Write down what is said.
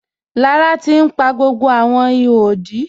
Lára ti n pa gbogbo awọn ìhò òdí.